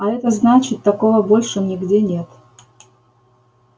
а это значит такого больше нигде нет